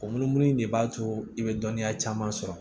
O munumunu de b'a to i be dɔnniya caman sɔrɔ